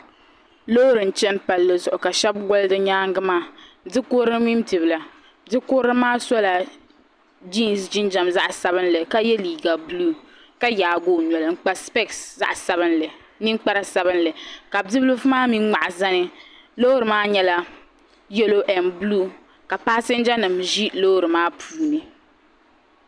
Loori n chani palli zuɣu ka shɛbi gɔli di nyaagi maa bikurili mini bibila bikurilimaa sola jesi jinjam zaɣsabinli ka ye liiga buluu ka yaagi o noli n kpa sipɛsi zaɣsabinli ninkpara sabinli ka bibilifu maa mi ŋmahi zani loori maa nyɛla yalo n buluu ka paasinjanima ʒi loori maa puuni.